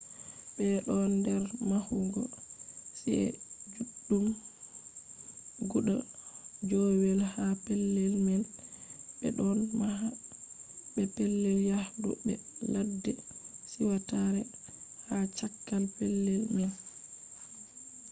ɓe ɗon nder mahugo ci’e juɗɗum guda joowey ha pellel man ɓe ɗon maha be pellel yahdu be ladde siwtare ha cakka pellel man